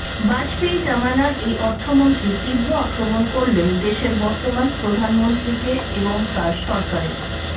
বাজপেয়ী জমানার এই অর্থমন্ত্রী তীব্র আক্রমণ করলেন দেশের বর্তমান প্রধানমন্ত্রীকে এবং তাঁর সরকারের